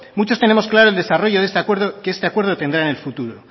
muchos tenemos claro el desarrollo de este acuerdo que este acuerdo tendrá en el futuro